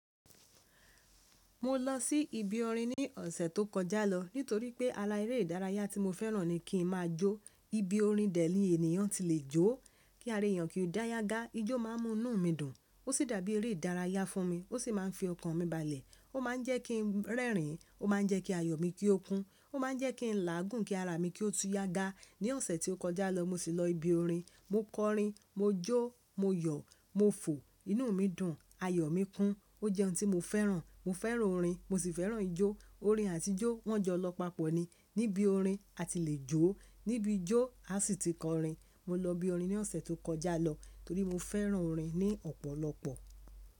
Mo lọ sí ibi orin ní ọ̀sẹ̀ tó kọjá lọ nítorí pé ara eré ìdárayá tí mo fẹ́ràn ni kí n máa jó. Ibi orin dẹ̀ ni ènìyàn ti lè jó, kí ara èèyàn kí ó dá yágá, ijó má a mú inú mi dùn, ó sì dàbí eré ìdárayá fún mi. Ó sì má a ń fi ọkàn mi balẹ̀, ó má a ń jẹ́ kí ń rẹ́rìn-ín, ó má a ń jẹ́ kí ayọ̀ mi kí ó kún, ó má a ń jẹ́ kí n láàgún kí ara mi kí ó tú yágá. Ni ọ̀sẹ̀ tí ó kọjá lọ mo sì lọ ibi orin, mo kọ orin, mo jó, mo yọ̀, mo fò, inú mi dùn, ayọ̀ mi kún. Ó jẹ́ ohun tí mo fẹ́ràn. Mo fẹ́ràn orin, mo sì fẹ́ràn ijó. Orin àti ijó wọ́n jọ lọ papọ̀ ni. Níbi orin a ti lè jó, níbi ijó a sì ti kọ orin. Mo lọ ibi orin ní ọ̀sẹ̀ tó kọjá lọ torí mo fẹ́ràn orin ní ọ̀pọ̀lọpọ̀.